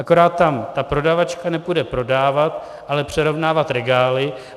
Akorát tam ta prodavačka nepůjde prodávat, ale přerovnávat regály.